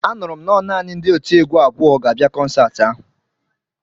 Anụrụ m nọ naanị ndị otiegwu abụọ ga-abịa kọnsaati ahụ